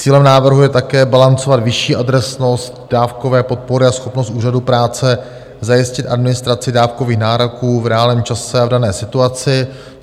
Cílem návrhu je také balancovat vyšší adresnost dávkové podpory a schopnost úřadů práce zajistit administraci dávkových nároků v reálném čase a v dané situaci.